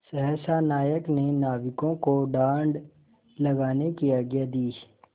सहसा नायक ने नाविकों को डाँड लगाने की आज्ञा दी